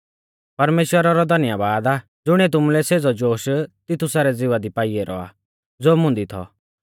परमेश्‍वरा रौ धन्यबाद आ ज़ुणिऐ तुमुलै सेज़ौ जोश तितुसा रै ज़िवा दी पाई ऐरौ आ ज़ो मुंदी थौ